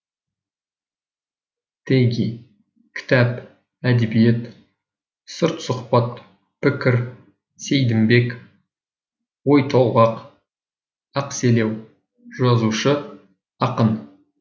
теги кітап әдебиет сыртсұхбат пікір сейдімбек ойтолғақ ақселеу жазушы ақын